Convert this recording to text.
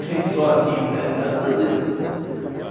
Sem sol aqui né, graças a Deus, até.